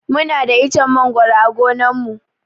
Muna da ichen mangoro a gonan mu.